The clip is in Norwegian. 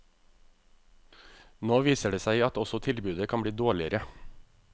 Nå viser det seg at også tilbudet kan bli dårligere.